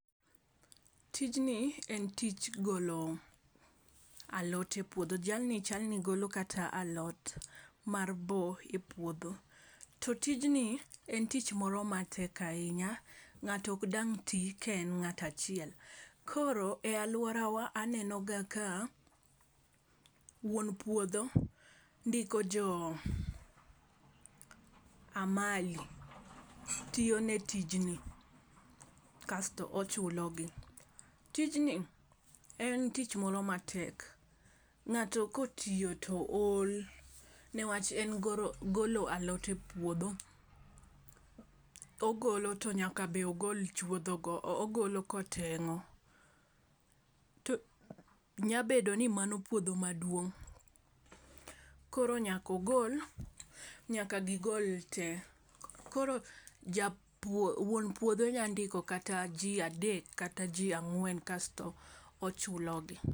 Tijni en tij golo alot e pwodho jal ni chal ni golo kata alot mar boo e puodho. To tijni en tich moro matek ahinya ng'ato ok dang tii ka en ngat achiel. Koro aluorawa aneno ga ka wuon puodho ndiko jo amali tiyo ne tijni kasto ochulo gi. Tijni en tich moro matek. Ng'ato kotiyo to ol newach en goro golo alot e puodho ogolo to nyaka be ogol chuoidho go ogolo toteng'o . Nya bedo ni mano puodho maduong' koro nyako gol nyaka gigol te. Koro ja wuon puodho nya ndiko kata jii adek kata ji ang'wen kasto ochulo gi.